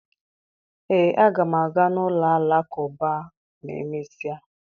Ee, aga m aga n'ụlọ Alakụba ma e mesịa